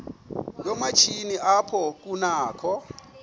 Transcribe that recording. yoomatshini apho kunakho